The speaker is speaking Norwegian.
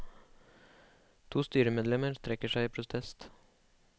To styremedlemmer trekker seg i protest.